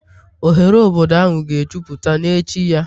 Oghere obodo ahụ ga-ejupụta n'echi ya